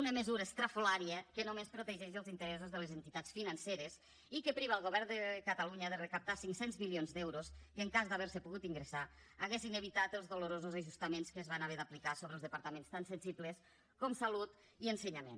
una mesura estrafolària que només protegeix els interessos de les entitats financeres i que priva el govern de catalunya de recaptar cinc cents milions d’euros que en cas d’haver se pogut ingressar haurien evitat els dolorosos ajustaments que es van haver d’aplicar sobre els departaments tan sensibles com salut i ensenyament